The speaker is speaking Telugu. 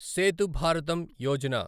సేతు భారతం యోజన